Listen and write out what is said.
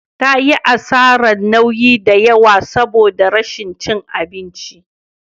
Ta yi asarar nauyi da yawa saboda rashin cin abinci.